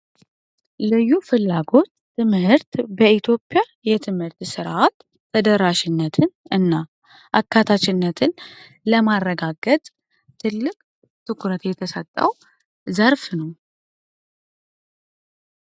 ልዩ ፍላጎት ትምህርት በኢትዮጵያ የትምህርት ስርአት በደራሽነት እና አካታችነትን ለማረጋገጥ ትልቅ ትኩረት የተሰጠዉ ዘርፍ ነዉ።